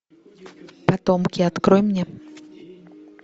потомки открой мне